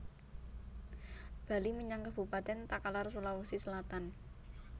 Bali menyang Kabupaten Takalar Sulawesi Selatan